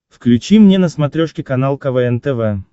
включи мне на смотрешке канал квн тв